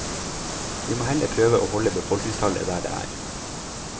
Vi må heller prøve å holde befolkningstallet der det er.